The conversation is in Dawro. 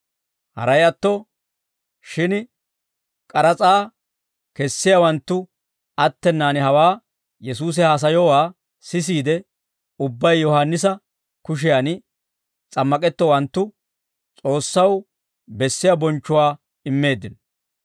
Haray atto shin k'aras'aa kessiyaawanttu attenaan hawaa Yesuusi haasayowaa siseedda ubbay Yohaannisa kushiyan s'ammak'ettowanttu S'oossaw bessiyaa bonchchuwaa immeeddino.